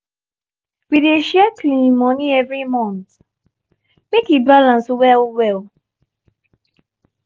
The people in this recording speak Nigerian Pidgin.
we dey share cleaning money every month make e balance well-well.